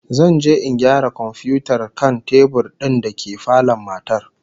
Zan je in gyara komfiyutar kan tebur din dake falon matar